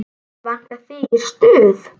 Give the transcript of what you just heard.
Vantar þig ekki stuð?